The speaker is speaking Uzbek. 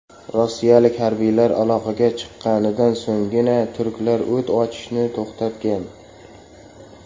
Rossiyalik harbiylar aloqaga chiqqanidan so‘nggina turklar o‘t ochishni to‘xtatgan.